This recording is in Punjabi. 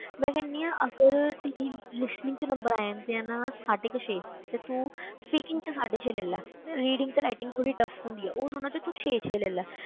ਮੈਂ ਕਹਿੰਦੀ ਹਾਂ ਅਗਰ ਤੇ ਜੇ listening ਵਿੱਚ number ਆ ਜਾਂਦੇ ਆ ਨਾ, ਸਾਢੇ ਕੁ ਛੇ ਤੇ ਤੂੰ speaking ਵਿੱਚ ਸਾਢੇ ਛੇ ਲੈ ਲਾ reading ਤੇ writing ਥੋੜ੍ਹੀ tough ਹੁੰਦੀ ਹੈ, ਉਹ ਦੋਨਾਂ ਵਿੱਚ ਤੂੰ ਛੇ ਛੇ ਲੈ ਲਾ,